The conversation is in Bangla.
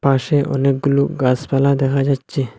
পাশে অনেকগুলো গাসপালা দেখা যাচ্চে।